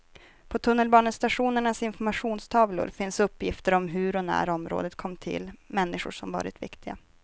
På tunnelbanestationernas informationstavlor finns uppgifter om hur och när området kom till, människor som varit viktiga.